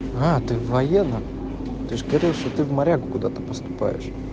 а ты в военном ты же говорил что ты в морягу куда-то поступаешь